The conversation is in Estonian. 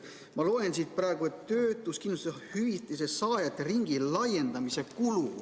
Ma loen siit praegu töötuskindlustushüvitise saajate ringi laiendamise kulu.